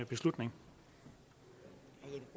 beslutning